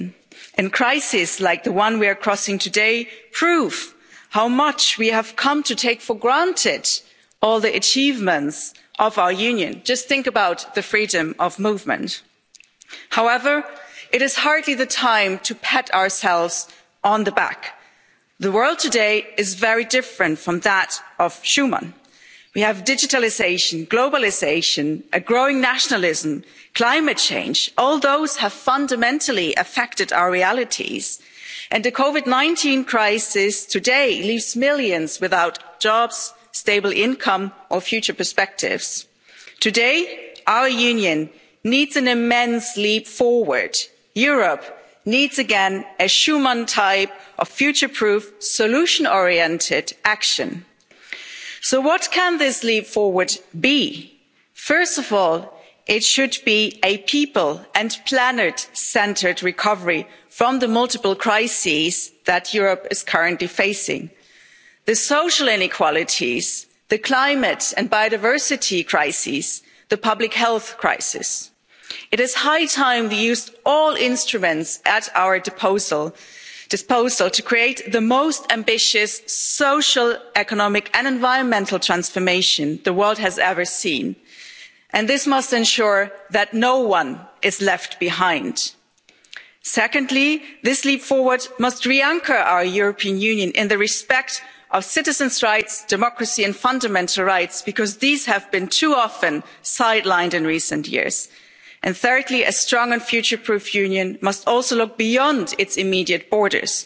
We expanded to overcome big parts of the Iron Curtain division and integrated in an ever closer Union to the benefit of the people living within. Crises, like the one we are crossing today, prove how much we have come to take for granted all the achievements of our Union. Just think about the freedom of movement. However, it is hardly the time to pat ourselves on the back. The world today is very different from that of Schuman. We have digitalisation, globalisation, a growing nationalism, climate change. All those have fundamentally affected our realities, and the COVID 19 crisis today leaves millions without jobs, a stable income or future perspectives. Today, our Union needs an immense leap forward. Europe needs again a Schuman type future proof solution oriented action. So what can this leap forward be? First of all, it should be a people and planet centred recovery from the multiple crises that Europe is currently facing the social inequalities, the climate and biodiversity crises, the public health crisis. It is high time we used all the instruments at our disposal to create the most ambitious social, economic and environmental transformation the world has ever seen, and this must ensure that no one is left behind. Secondly, this leap forward must re anchor our European Union in the respect of citizens' rights, democracy and fundamental rights, because these have too often been sidelined in recent years. Thirdly, a strong and future proofed Union must also look beyond its immediate